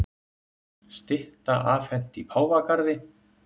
Stytta afhent í Páfagarði